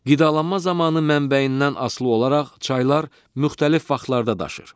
Qidalanma zamanı mənbəyindən asılı olaraq çaylar müxtəlif vaxtlarda daşır.